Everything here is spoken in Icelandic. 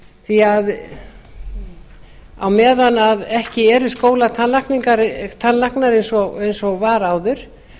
því að á meðan ekki eru skólatannlæknar eins og var áður